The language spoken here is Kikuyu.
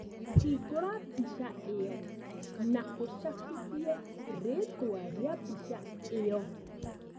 Hingũra mbica ĩyo na úcabithie rĩĩtwa rĩa mbica ĩyo